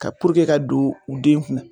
Ka ka don u den kunna